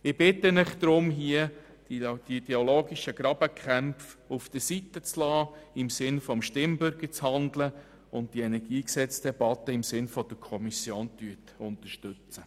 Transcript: Ich bitte Sie deshalb, hier die ideologischen Grabenkämpfe beiseite zu lassen, im Sinne des Stimmbürgers zu handeln und das KEnG wie von der Kommission beantragt zu unterstützen.